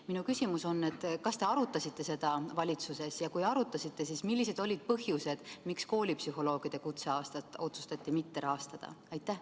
Minu küsimus on: kas te arutasite seda valitsuses ja kui arutasite, siis mis põhjustel otsustati koolipsühholoogide kutseaastat mitte rahastada?